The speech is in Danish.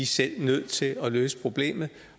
selv nødt til at løse problemet